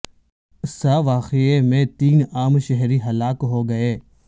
س واقعے میں تین عام شہری ہلاک ہو گئے